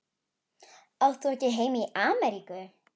Átt þú ekki heima í Ameríku?